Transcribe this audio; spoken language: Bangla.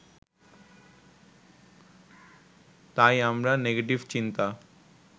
তাই আমরা নেগেটিভ চিন্তা